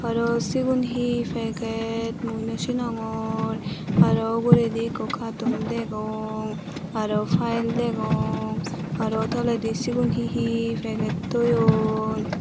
araw sigun hi paged mui nawsinongor araw uguredi ekko katon degong araw pile degong araw toledi sigun he he paged toyon.